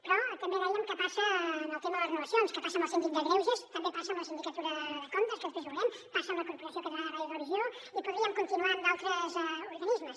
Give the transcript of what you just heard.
però també dèiem que passa en el tema de les renovacions que passa amb el síndic de greuges també passa amb la sindicatura de comptes que després ho veurem passa amb la corporació catalana de ràdio i televisió i podríem continuar amb d’altres organismes